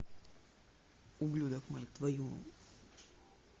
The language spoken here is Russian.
ублюдок мать твою